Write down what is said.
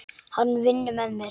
Hann vinnur með mér.